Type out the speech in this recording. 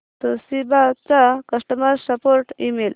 Toshiba चा customer support email